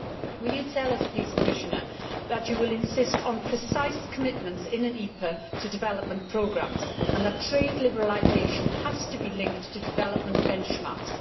Will you tell us please, Commissioner, that you will insist on precise commitments in an EPA to development programmes and that trade liberalisation has to be linked to development benchmarks?